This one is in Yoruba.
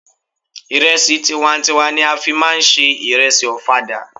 Ìrẹsì tiwa n tiwa ni a fí máà ń se ìrẹsì ọ̀fadà.